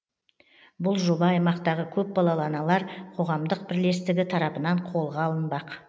бұл жоба аймақтағы көпбалалы аналар қоғамдық бірлестігі тарапынан қолға алынбақ